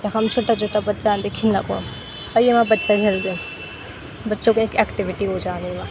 यखम छुट्टा छुट्टा बच्चा अंदिन खिना खो अर येमा बच्चा खिलदिन बच्चो के एक एक्टिविटी ह्वे जान्द येमा।